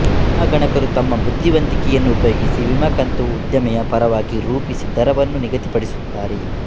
ವಿಮಾಗಣಕರು ತಮ್ಮ ಬುದ್ಧಿವಂತಿಕೆಯನ್ನು ಉಪಯೋಗಿಸಿ ವಿಮೆಕಂತನ್ನು ಉದ್ಯಮೆಯ ಪರವಾಗಿ ರೂಪಿಸಿ ದರವನ್ನು ನಿಗದಿಪಡಿಸುತ್ತಾರೆ